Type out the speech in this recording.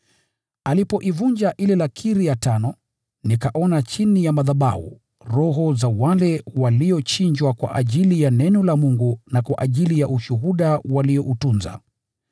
Mwana-kondoo alipoivunja ile lakiri ya tano, nikaona chini ya madhabahu, roho za wale waliochinjwa kwa ajili ya neno la Mungu na kwa ajili ya ushuhuda walioutunza.